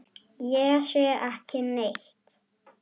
Ég sé ekki neitt.